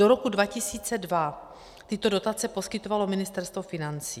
Do roku 2002 tyto dotace poskytovalo Ministerstvo financí.